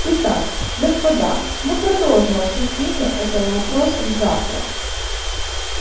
итак господа мы продолжим обсуждение этого вопроса завтра